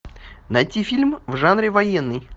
найти фильм в жанре военный